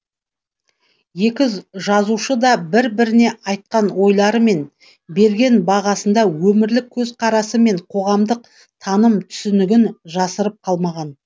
екі жазушы да бір біріне айтқан ойлары мен берген бағасында өмірлік көзқарасы мен қоғамдық таным түсінігін жасырып қалмаған